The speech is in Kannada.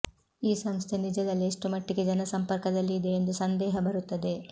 ಈ ಸಂಸ್ಥೆ ನಿಜದಲ್ಲಿ ಎಷ್ಟು ಮಟ್ಟಿಗೆ ಜನಸಂಪರ್ಕದಲ್ಲಿ ಇದೆ ಎಂದು ಸಂದೇಹ ಬರುತ್ತದೆ